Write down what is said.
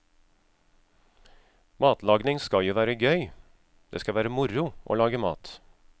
Matlagning skal jo være gøy, det skal være moro å lage mat.